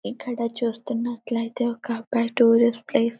ఇక్కడ చూస్తున్నట్లయితే ఒక అబ్బాయి టూరిస్ట్ ప్లేస్ --